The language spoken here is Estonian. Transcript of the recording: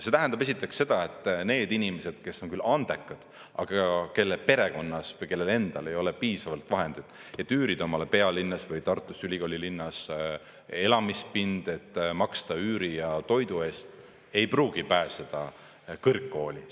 See tähendab esiteks seda, et need inimesed, kes on küll andekad, aga kelle perekonnas või kellel endal ei ole piisavalt vahendeid, et üürida omale pealinnas või Tartus, ülikoolilinnas elamispind, et maksta üüri ja toidu eest, ei pruugi pääseda kõrgkooli.